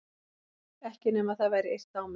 Ekki nema það væri yrt á mig.